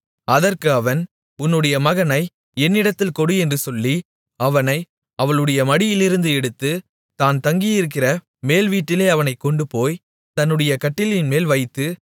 அதற்கு அவன் உன்னுடைய மகனை என்னிடத்தில் கொடு என்று சொல்லி அவனை அவளுடைய மடியிலிருந்து எடுத்து தான் தங்கியிருக்கிற மேல்வீட்டிலே அவனைக் கொண்டுபோய் தன்னுடைய கட்டிலின்மேல் வைத்து